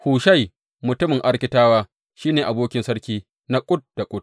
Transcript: Hushai mutumin Arkitawa shi ne abokin sarki na kud da kud.